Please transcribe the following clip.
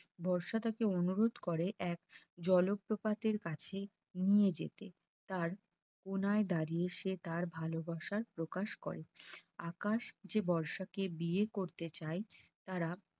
বর্ষার তাকে অনুরোধ করে এক জলপ্রপাতের কাছে নিয়ে যেতে তার কোনায় দাঁড়িয়ে সে তার ভালোবাসার প্রকাশ করে আকাশ যে বর্ষাকে বিয়ে করতে চায় তারা